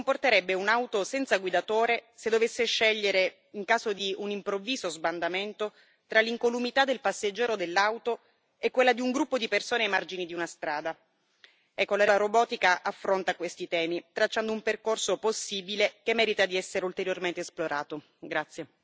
Come si comporterebbe un'auto senza guidatore se dovesse scegliere, in caso di un improvviso sbandamento, tra l'incolumità del passeggero dell'auto e quella di un gruppo di persone ai margini di una strada. La relazione sulla robotica affronta questi temi, tracciando un percorso possibile che merita di essere ulteriormente esplorato.